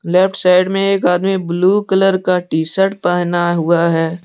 Left side में एक आदमी ब्लू कलर का टी शर्ट पहना हुआ है।